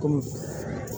Kɔmi